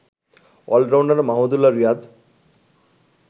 allrounder Mahmudullah Riyad